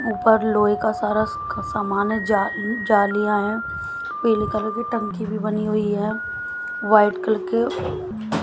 ऊपर लोहे का सारा सामान है। जलियाँ है पीले कलर की टंकी भी बनी हुई है। वाइट कलर के --